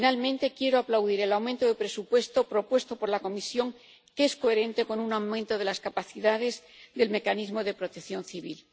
Y, finalmente, quiero aplaudir el aumento de presupuesto propuesto por la Comisión, que es coherente con un aumento de las capacidades del Mecanismo de Protección Civil.